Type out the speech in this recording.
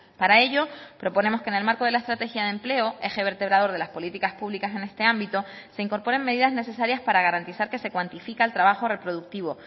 para ello proponemos que en el marco de la estrategia de empleo eje vertebrador de las políticas públicas en este ámbito se incorporen medidas necesarias para garantizar que se cuantifica el trabajo reproductivo